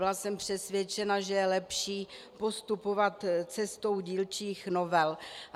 Byla jsem přesvědčena, že je lepší postupovat cestou dílčích novel.